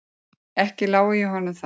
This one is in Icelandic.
Ekki lái ég honum það.